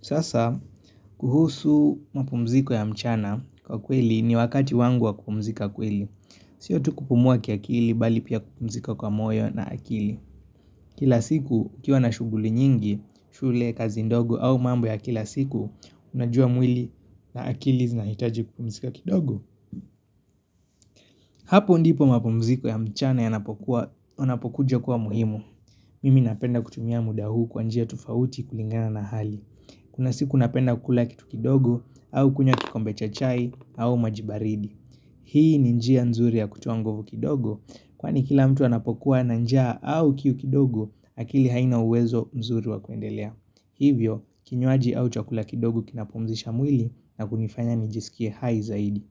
Sasa, kuhusu mapumziko ya mchana kwa kweli ni wakati wangu wa kupumzika kweli. Sio tu kupumua kiakili bali pia kupumzika kwa moyo na akili. Kila siku, kukiwa na shughuli nyingi, shule, kazi ndogo au mambo ya kila siku, unajua mwili na akili zinahitaji kupumzika kidogo. Hapo ndipo mapumziko ya mchana yanapokuja kuwa muhimu. Mimi napenda kutumia muda huu kwa njia tofauti kulingana na hali. Kuna siku napenda kukula kitu kidogo au kunya kikombe cha chai au maji baridi Hii ni njia nzuri ya kutoa nguvu kidogo Kwani kila mtu anapokuwa na njia au kiu kidogo akili haina uwezo mzuri wa kuendelea Hivyo, kinywaji au chakula kidogo kinapomzisha mwili na kunifanya nijisikie hai zaidi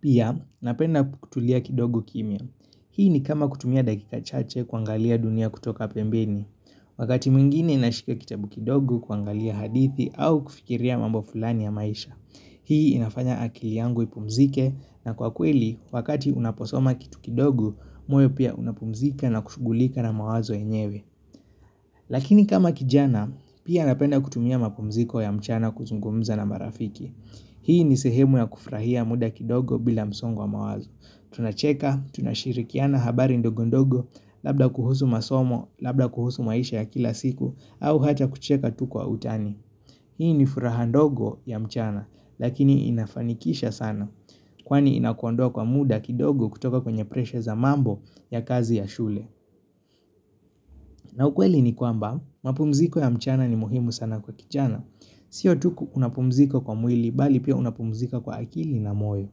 Pia, napenda kutulia kidogo kimya. Hii ni kama kutumia dakika chache kuangalia dunia kutoka pembeni Wakati mwingine nashikia kitabu kidogo kuangalia hadithi au kufikiria mambo fulani ya maisha. Hii inafanya akili yangu ipumzike na kwa kweli wakati unaposoma kitu kidogo moyo pia unapumzika na kushughulika na mawazo yenyewe. Lakini kama kijana pia napenda kutumia mapumziko ya mchana kuzungumza na marafiki. Hii ni sehemu ya kufurahia muda kidogo bila msongo wa mawazo. Tunacheka, tunashirikiana habari ndogo ndogo Labda kuhusu masomo, labda kuhusu maisha ya kila siku au hata kucheka tu kwa utani Hii ni furaha ndogo ya mchana Lakini inafanikisha sana Kwani inakuondoa kwa muda kidogo kutoka kwenye presha za mambo ya kazi ya shule na ukweli ni kwamba, mapumziko ya mchana ni muhimu sana kwa kijana Sio tu unapumzika kwa mwili bali pia unapumzika kwa akili na moyo.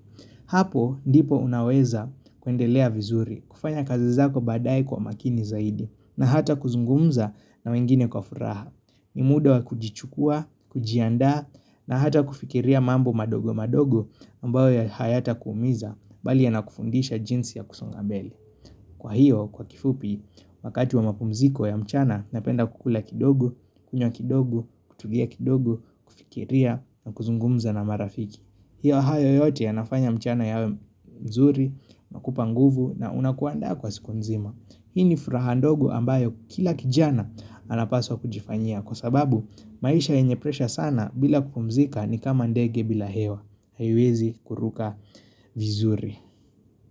Hapo ndipo unaweza kuendelea vizuri, kufanya kazi zako badaye kwa makini zaidi, na hata kuzungumza na wengine kwa furaha. Ni muda wa kujichukua, kujiandaa, na hata kufikiria mambo madogo madogo ambayo hayatakuumiza, bali yanakufundisha jinsi ya kusounga mbele. Kwa hiyo, kwa kifupi, wakati wa mapumziko ya mchana, napenda kukula kidogo, kunywa kidogo, kutulia kidogo, kufikiria na kuzungumza na marafiki. Hiyo hayo yote yanafanya mchana yawe mzuri, nakupa nguvu na unakuandaa kwa siku nzima. Hii ni furaha ndogo ambayo kila kijana anapaswa kujifanyia kwa sababu maisha yenye presha sana bila kupumzika ni kama ndege bila hewa. Haiwezi kuruka vizuri.